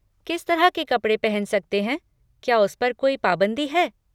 किस तरह के कपड़े पहन सकते हैं क्या उस पर कोई पाबंदी है?